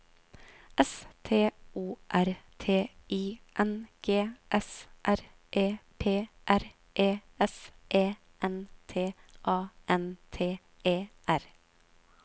S T O R T I N G S R E P R E S E N T A N T E R